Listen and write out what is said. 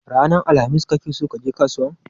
Ranar alhamis kake so kaje kasuwan?